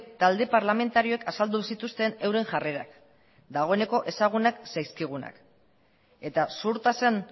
talde parlamentarioek azaldu zituzten euren jarrerak dagoeneko ezagunak zaizkigunak eta zuhurtasun